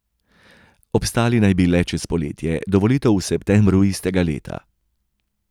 Obstali naj bi le čez poletje, do volitev v septembru istega leta.